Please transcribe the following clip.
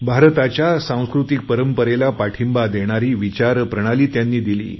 भारताच्या सांस्कृतिक परंपरेला पाठींबा देणारी विचारप्रणाली त्यांनी दिली